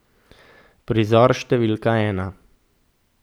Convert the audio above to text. Prizor številka ena.